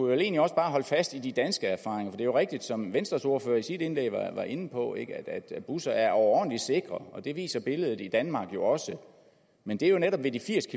vel egentlig også bare holde fast i de danske erfaringer for det er jo rigtigt som venstres ordfører i sit indlæg var inde på at busser er overordentlig sikre og det viser billedet i danmark jo også men det er jo netop ved de firs